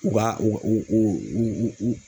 U ka u u